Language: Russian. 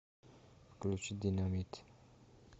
включи динамит